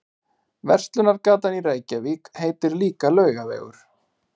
Verslunargatan í Reykjavík heitir líka Laugavegur.